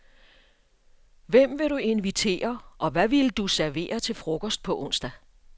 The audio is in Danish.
Hvem ville du invitere og hvad ville du servere til frokost på onsdag?